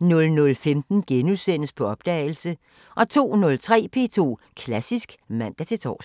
00:15: På opdagelse * 02:03: P2 Klassisk (man-tor)